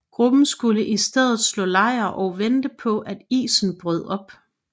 Gruppen skulle i stedet slå lejr og vente på at isen brød op